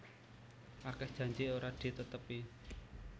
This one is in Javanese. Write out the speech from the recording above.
Akeh janji ora ditetepi